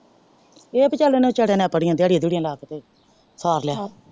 ਚਾਲ ਓਹਨੇ ਵਿਚਾਰੇ ਨੇ ਦਿਹਾੜਿਆਂ ਦਿਹੁੜਿਆ ਲਗਾ ਕੇ ਭੇਜ ਤਾ ਸਾਰ ਲਿਆ।